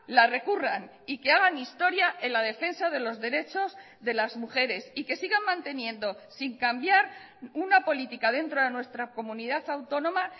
la recurran y que hagan historia en la defensa de los derechos de las mujeres y que sigan manteniendo sin cambiar una política dentro de nuestra comunidad autónoma